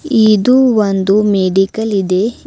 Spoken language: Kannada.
ಇದು ಒಂದು ಮೆಡಿಕಲ್ ಇದೆ